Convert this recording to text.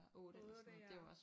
8 ja